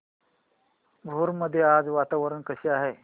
भोर मध्ये आज वातावरण कसे आहे